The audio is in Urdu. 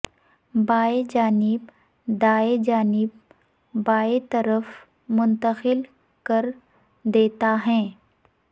بائیں جانب دائیں جانب بائیں طرف منتقل کر دیتا ہے